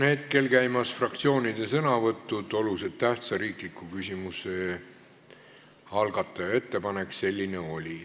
Meil on käimas fraktsioonide sõnavõtud, oluliselt tähtsa riikliku küsimuse algataja ettepanek selline oli.